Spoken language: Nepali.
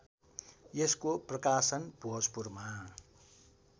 यसको प्रकाशन भोजपुरमा